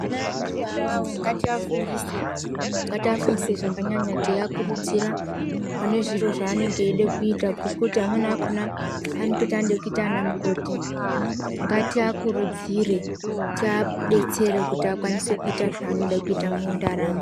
Ana edu iwawawo ngatiafundise, ngatiafundise zvakanyanya teiakurudzira pane zviro zvanenge eida kuita ngekuti amweni akhona anototi anoda kuita ana mukoti. Ngatiakurudzire , taidetsere kuti akwanise kuita zvanoda kuita mundaramo.